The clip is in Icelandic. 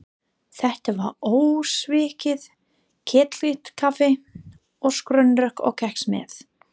Þetta var ósvikið ketilkaffi og skonrok og kex með.